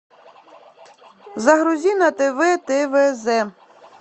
загрузи на тв твз